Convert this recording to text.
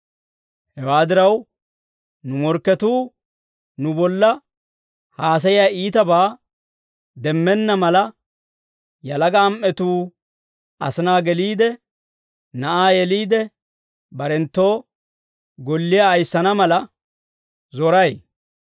Hewaa diraw, nu morkketuu nu bolla haasayiyaa iitabaa demmenna mala, yalaga am"atuu asinaa geliide, na'aa yeliide, barenttu golliyaa ayissana mala zoray.